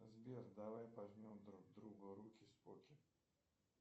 сбер давай пожмем друг другу руки споки